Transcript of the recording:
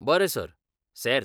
बरें सर, सेर्त.